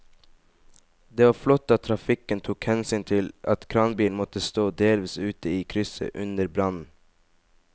Det var flott at trafikken tok hensyn til at kranbilen måtte stå delvis ute i krysset under brannen.